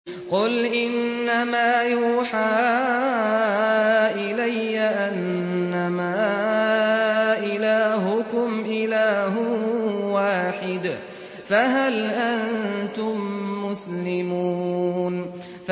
قُلْ إِنَّمَا يُوحَىٰ إِلَيَّ أَنَّمَا إِلَٰهُكُمْ إِلَٰهٌ وَاحِدٌ ۖ فَهَلْ أَنتُم مُّسْلِمُونَ